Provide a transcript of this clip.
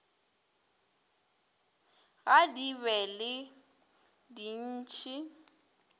ga di be le dintšhi